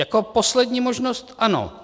"Jako poslední možnost, ano.